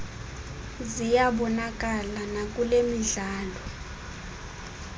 ziyabonakala nakule midlalo